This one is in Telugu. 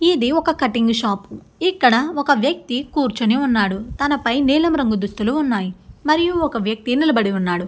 ఇది ఒక కటింగ్ షాప్ ఇక్కడ ఒక వ్యక్తి కూర్చొని ఉన్నాడు. తన పై నీలం రంగు దుస్తులు ఉన్నాయి మరియు ఒక వ్యక్తి నిలబడి ఉన్నాడు.